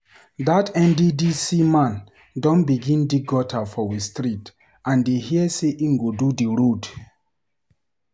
Dat NDDC man don begin dig gutter for we street and dey hear sey im go do di road.